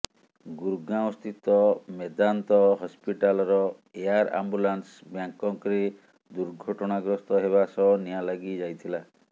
ଗୁରଗାଓଁସ୍ଥିତ ମେଦାନ୍ତ ହସ୍ପିଟାଲର air ambulance ବ୍ୟାଙ୍କକରେ ଦୁର୍ଘଟଣାଗ୍ରସ୍ତ ହେବା ସହ ନିଆଁ ଲାଗି ଯାଇଥିଲା